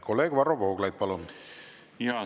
Kolleeg Varro Vooglaid, palun!